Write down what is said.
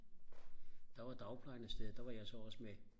der var dagplejen afsted der var jeg så også med